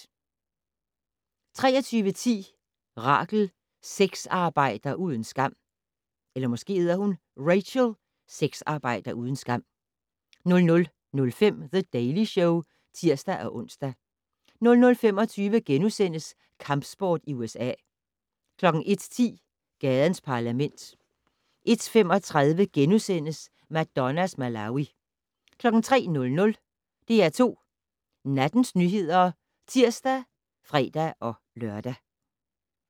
23:10: Rachel - sexarbejder uden skam 00:05: The Daily Show (tir-ons) 00:25: Kampsport i USA * 01:10: Gadens Parlament 01:35: Madonnas Malawi * 03:00: DR2 Nattens nyheder (tir og fre-lør)